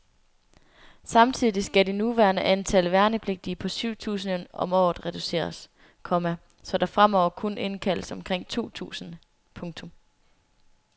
Samtidig skal det nuværende antal værnepligtige på syv tusind om året reduceres, komma så der fremover kun indkaldes omkring to tusinde. punktum